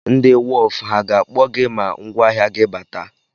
Ndị wọf ha ga-akpọ gị ma ngwáahịa gị bata?